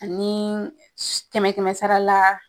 Ani kɛmɛ kɛmɛ sarala